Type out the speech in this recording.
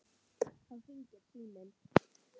Þá hringir síminn.